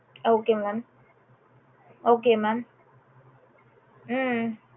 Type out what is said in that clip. okay mam okay mam um